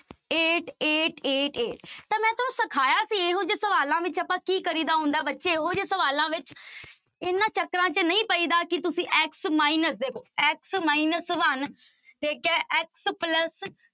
Eight, eight, eight, eight ਤਾਂ ਮੈਂ ਤੁਹਾਨੂੰ ਸਿਖਾਇਆ ਸੀ ਇਹੋ ਜਿਹੇ ਸਵਾਲਾਂ ਵਿੱਚ ਆਪਾਂ ਕੀ ਕਰੀ ਦਾ ਹੁੰਦਾ ਬੱਚੇ ਇਹੋ ਜਿਹੇ ਸਵਾਲਾਂ ਵਿੱਚ ਇਹਨਾਂ ਚੱਕਰਾਂ ਚ ਨਹੀਂ ਪਈਦਾ ਕਿ ਤੁਸੀਂ x minus ਦੇਖੋ x minus one ਠੀਕ ਹੈ x plus